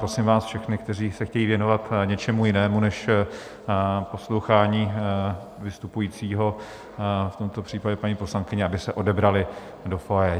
Prosím vás všechny, kteří se chtějí věnovat něčemu jinému než poslouchání vystupujícího, v tomto případě paní poslankyně, aby se odebrali do foyer.